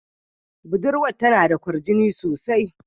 Budurwar tana da kwarjini sosai.